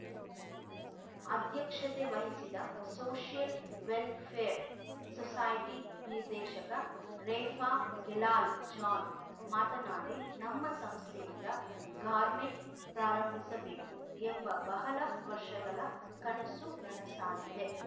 ಅಧ್ಯಕ್ಷತೆ ವಹಿಸಿದ್ದ social welfare society ನಿರ್ದೇಶಕ ರೆಫಾ ಗೆಲಾಲ್‌ ಜಾನ್‌ ಮಾತನಾಡಿ ನಮ್ಮ ಸಂಸ್ಥೆಯಿಂದ ಗಾರ್ಮೆಂಟ್‌ ಪ್ರಾರಂಭಿಸಬೇಕು ಎಂಬ ಬಹಳ ವರ್ಷಗಳ ಕನಸು ನನಸಾಗಿದೆ